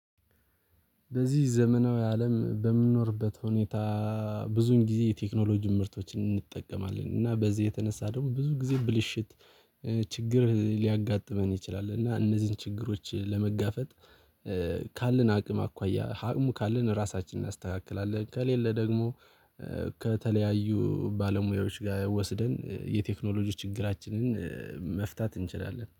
በዚህ ዘመናዊ አለም በምንኖርበት ሁኔታ ብዙን ጊዜ የቴክኖሎጂ ምርቶችን እንጠቀማለን እና በዚህ የተነሳ ደግሞ ብዙ ጊዜ ብልሽት ችግር ሊያጋጥመን ይችላል። እና እነዚህን ችግሮች ለመጋፈጥ ካለን አቅም አኳያ አቅሙ ካለን ራሳችንን እናስተካክላለን። ከሌለ ደግሞ ከተለያዩ ባለሙያዎች ጋር ወስደን የቴክኖሎጂ ችግራችንን መፍታት እንችላለን